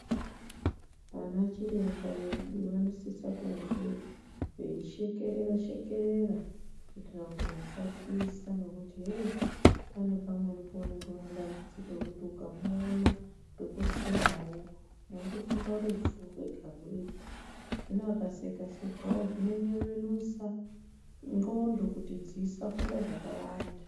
Vanachiremba vedu vanosisa kunge veishekerera shekerera kuitira kuti vasatyisa, ngekuti hey pane pamweni peunenge une dambudziko rekuti ukamuona dhokoterawo unotofunga rufu rwega rwega, hino akaseka sekawo zvinonyevenusa nxondo kuti dzisafunga zvakawanda.